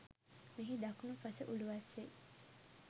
මෙහි දකුණූ පස උළුවස්සේ